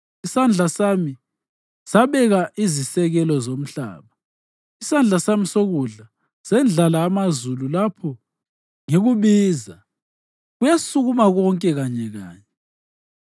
Isandla sami sabeka izisekelo zomhlaba, isandla sami sokudla sendlala amazulu; lapho ngikubiza, kuyasukuma konke kanyekanye.